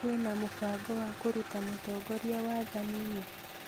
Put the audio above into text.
Kwĩna mũbango wa kũruta mũtongoria wathani-inĩ?